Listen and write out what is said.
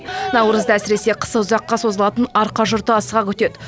наурызды әсіресе қысы ұзаққа созылатын арқа жұрты асыға күтеді